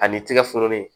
Ani tigɛ foro nin